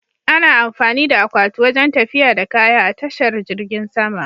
Ana amfani da akwati wajen tafiya da kaya a tashar jirgin sama.